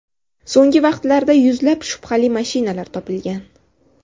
So‘nggi vaqtlarda yuzlab shubhali mashinalar topilgan.